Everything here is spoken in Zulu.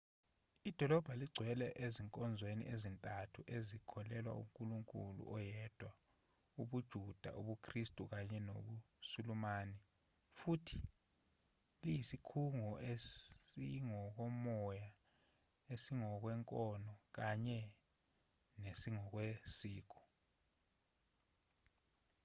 idolobha lingcwele ezinkolweni ezintathu ezikholelwa kunkulunkulu oyedwa ubujuda ubukhristu kanye nobusulumani futhi liyisikhungo esingokomoya esingokwenkolo kanye nesingokwesiko